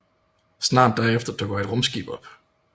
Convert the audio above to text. Snart derefter dukker et rumskib op